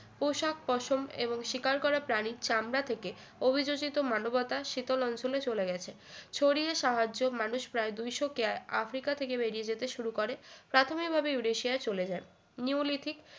পোশাক পশম এবং শিকার করা প্রাণীর চামড়া থেকে অভিযোজিত মানবতা শীতল অঞ্চলে চলে গেছে শরীরের সাহায্য মানুষ প্রায় দুইশ কেয়া আফ্রিকা থেকে বেরিয়ে যেতে শুরু করে প্রাথমিকভাবে ইউরেশিয়া চলে যায় নিওলিথিক